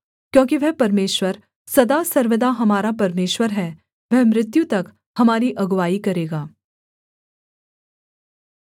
क्योंकि वह परमेश्वर सदा सर्वदा हमारा परमेश्वर है वह मृत्यु तक हमारी अगुआई करेगा